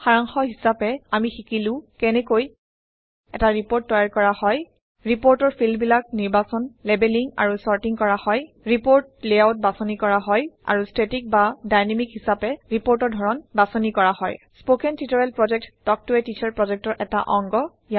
সাৰাংশ হিচাপে আমি শিকিলো কেনেকৈ এটা ৰিপৰ্ট তৈয়াৰ কৰা হয় আৰু ষ্টেটিক বা ডাইনেমিক হিচাপে ৰিপৰ্টৰ ধৰণ বাছনি কৰা হয় স্পকেন টিউটৰিয়েল প্ৰকল্প তাল্ক ত a টিচাৰ প্ৰকল্পৰ এটা অংগ